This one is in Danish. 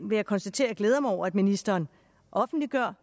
vil jeg konstatere at jeg glæder mig over at ministeren offentliggør